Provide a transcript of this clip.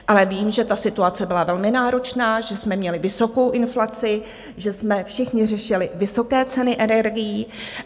Ale vím, že ta situace byla velmi náročná, že jsme měli vysokou inflaci, že jsme všichni řešili vysoké ceny energií.